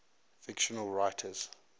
fictional writers